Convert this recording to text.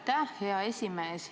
Aitäh, hea esimees!